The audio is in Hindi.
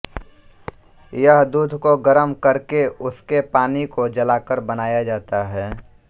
यह दूध को गरम करके उसके पानी को जलाकर बनाया जाता है